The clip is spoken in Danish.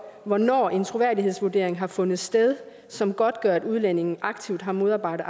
hvornår en troværdighedsvurdering har fundet sted som godtgør at udlændingen aktivt har modarbejdet